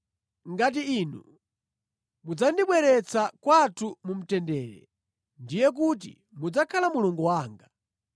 ngati inu mudzandibweretsa kwathu mu mtendere, ndiye kuti mudzakhala Mulungu wanga,